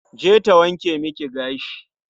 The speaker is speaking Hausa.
Je ta wanke miki gashi.